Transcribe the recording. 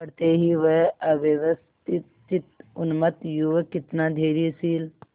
पड़ते ही वह अव्यवस्थितचित्त उन्मत्त युवक कितना धैर्यशील